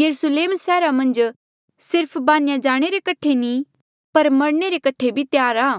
यरुस्लेम सैहरा मन्झ सिर्फ बान्हेया जाणे रे कठे नी पर मरणे रे कठे भी त्यार आ